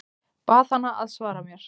Bað hana að svara mér.